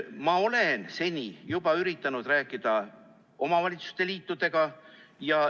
Ma olen üritanud rääkida omavalitsuste liitudega.